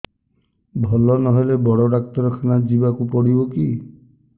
ଭଲ ନହେଲେ ବଡ ଡାକ୍ତର ଖାନା ଯିବା କୁ ପଡିବକି